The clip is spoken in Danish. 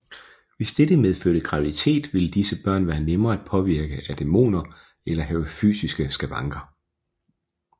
Hvis dette medførte graviditet ville disse børn være nemmere at påvirke af dæmoner eller have fysiske skavanker